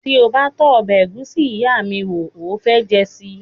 Ti o ba tó ọbẹ egusi iya mi wo, o o fe jẹ sii